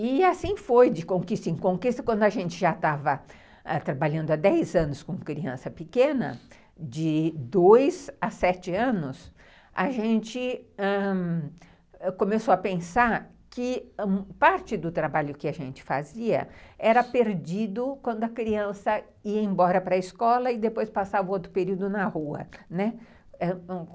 E assim foi, de conquista em conquista, quando a gente já estava ãh trabalhando há dez anos com criança pequena, de dois a sete anos, a gente começou a pensar que parte do trabalho que a gente fazia era perdido quando a criança ia embora para a escola e depois passava outro período na rua, né.